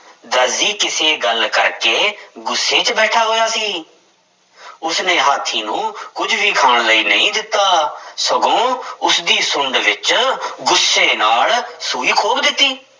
ਦਰਜੀ ਕਿਸੇ ਗੱਲ ਕਰਕੇ ਗੁੱਸੇ ਵਿੱਚ ਬੈਠਾ ਹੋਇਆ ਸੀ ਉਸਨੇ ਹਾਥੀ ਨੂੰ ਕੁੱਝ ਵੀ ਖਾਣ ਲਈ ਨਹੀਂ ਦਿੱਤਾ, ਸਗੋਂ ਉਸਦੀ ਸੁੰਡ ਵਿੱਚ ਗੁੱਸੇ ਨਾਲ ਸੂਈ ਖੋਭ ਦਿੱਤੀ।